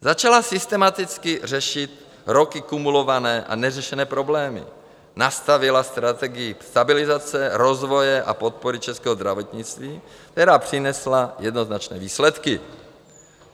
Začala systematicky řešit roky kumulované a neřešené problémy, nastavila strategii stabilizace, rozvoje a podpory českého zdravotnictví, které přinesly jednoznačné výsledky.